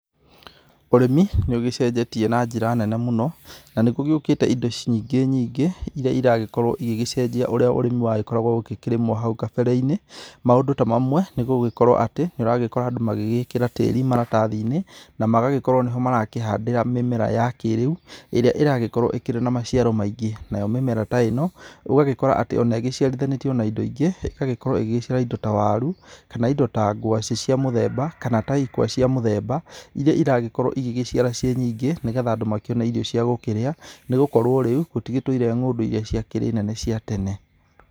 Ũrĩmi nĩũgĩcejetie na njira nene mũno, na nĩ gũgĩũkĩte indo nyingĩ nyingĩ, iria iragĩkorwo igĩgĩcenjia ũrĩa ũrĩmĩ wagĩkoragwo ũgĩkĩrĩmwo hau kabere-inĩ. Maũndũ ta mamwe, ni gũgĩkorwo atĩ nĩũragĩkora andũ magĩgĩkĩra tĩri maratathinĩ na magagĩkorwo nĩho marakĩhandĩra mĩmera ya kĩrĩu, ĩrĩa ĩragĩkorwo ĩkĩrĩ na maciaro maingĩ. Nayo mĩmera ta ĩno, ũgagĩkora atĩ ona ĩgĩciarithanĩtio na indo ingĩ. Ĩgagĩkorwo ĩgĩciara indo ta waru, kana indo ta ngwacĩ cia mũthemba, kana ta ikwa cia mũthemba. Iria iragĩkorwo igĩgĩciara ciĩ nyingĩ, nĩgetha andũ makĩone irio cia gũkĩrĩa. Nĩ gũkorwo rĩu gũtigĩtũire ng'ũndũ iria ciakĩrĩ nene cia tene